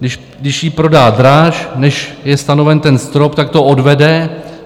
Když ji prodá dráž, než je stanoven ten strop, tak to odvede.